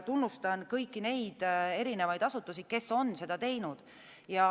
Tunnustan kõiki neid erinevaid asutusi, kes on seda teinud.